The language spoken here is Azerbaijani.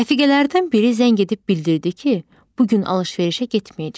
Rəfiqələrdən biri zəng edib bildirdi ki, bu gün alış-verişə getməyəcək.